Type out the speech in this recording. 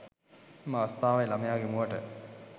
එම අවස්ථාවේ ළමයාගේ මුවට